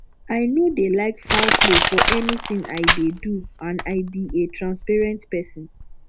i no dey like foul play for anything i dey do and i be a transparent person